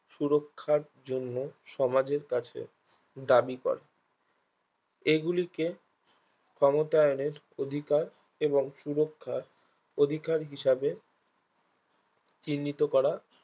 সুরক্ষার জন্য সমাজের কাছে দাবি করে এগুলিকে সমতায়নের অধিকার এবং সুরক্ষার হিসাবে চিহ্নিত করা